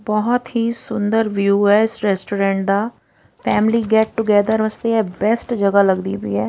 ਬਹੁਤ ਹੀ ਸੁੰਦਰ ਵਿਊ ਐ ਇਸ ਰੈਸਟੋਰੈਂਟ ਦਾ ਫੈਮਲੀ ਗੈਟ ਟੂਗੈਦਰ ਵਾਸਤੇ ਬੈਸਟ ਜਗਹਾ ਲੱਗਦੀ ਪਈ ਐ।